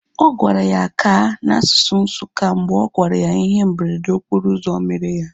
Ọ sịrị ya "ka" na asụsụ Nsukka mgbe ọ gwara ya ihe mberede okporo ụzọ mere ya